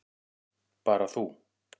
Bara þú.